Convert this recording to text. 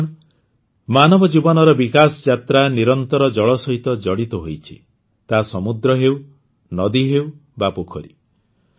ବନ୍ଧୁଗଣ ମାନବ ଜୀବନର ବିକାଶ ଯାତ୍ରା ନିରନ୍ତର ଜଳ ସହିତ ଜଡ଼ିତ ହୋଇଛି ତାହା ସମୁଦ୍ର ହେଉ ନଦୀ ହେଉ ବା ପୋଖରୀ